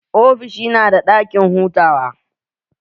Ofishin nada ɗakin hutawa?